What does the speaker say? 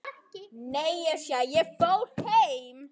Síðan bauð hann mér vindil.